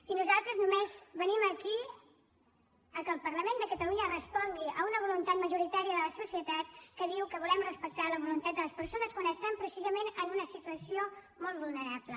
i nosaltres només venim aquí a que el parlament de catalunya respongui a una voluntat majoritària de la societat que diu que volem respectar la voluntat de les persones quan estan precisament en una situació molt vulnerable